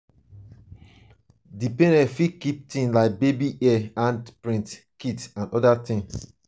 di parent fit keep things like baby hair hand print kits and oda things